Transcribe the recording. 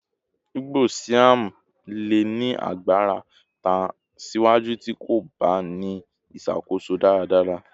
igbo Siam le ni agbara tan siwaju ti ko ba ni iṣakoso daradara